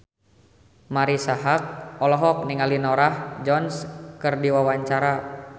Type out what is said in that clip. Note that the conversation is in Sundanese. Marisa Haque olohok ningali Norah Jones keur diwawancara